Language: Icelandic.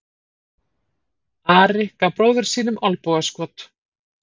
Ari gaf bróður sínum olnbogaskot.